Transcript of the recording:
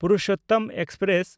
Purushottam express